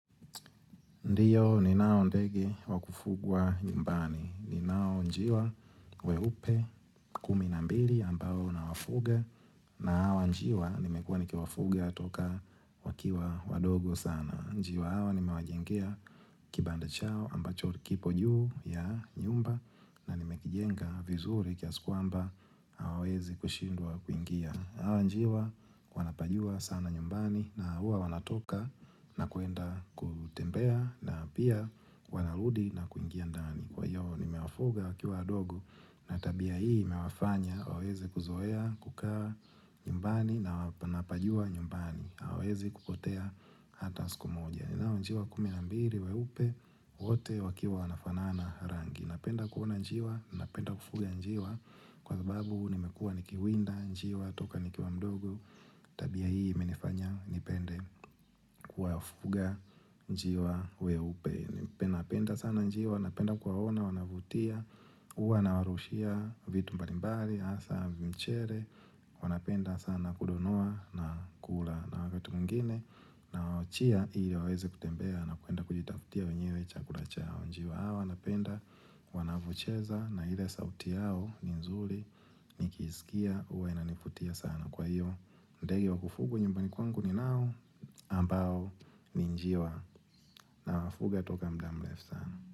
Ndiyo ni nao ndegi wakufugwa nyumbani, ni nao njiwa weupe kumi na mbili ambao nawafuge na awa njiwa nimekuwa niki wafuge atoka wakiwa wadogo sana. Njiwa awa nima wajengea kibanda chao ambacho kiko juu ya nyumba na nimekijenga vizuri kiasikuamba hawawezi kushindwa kuingia. Hawa njiwa wanapajua sana nyumbani na hua wanatoka na kuenda kutembea na pia wanarudi na kuingia ndani. Kwa hiyo ni mewafuga wakiwadogo na tabia hii mewafanya wawezi kuzoea kukaa nyumbani na wapajua nyumbani. Hawezi kukotea hata siku moja nilao njiwa kuminambiri weupe wote wakiwa wanafanaana rangi napenda kuona njiwa napenda kufuga njiwa kwa sababu nimekua nikiwinda njiwa toka nikiwa mdogo tabia hii minifanya nipende kuwafuga njiwa weupe napenda sana njiwa napenda kuwaona wanavutia uwa na warushia vitu mbalimbali asa mchere wanapenda sana kudonoa na kula na wakati mwingine na wachia ili wawezi kutembea na kuenda kujitakutia wenyewe chakula chao njiwa awa napenda wanavyocheza na ile sauti yao ni nzuli nikiskia huwa inanivutia sana kwa hiyo ndege wa kufugwa nyumbani ninao na ambao ni njiwa nawafuga kutoka muda mrefu sana.